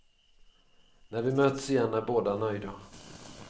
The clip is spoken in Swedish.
När vi möts igen är båda nöjda.